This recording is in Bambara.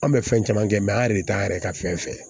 An bɛ fɛn caman kɛ an yɛrɛ de t'an yɛrɛ ka fɛn fɛ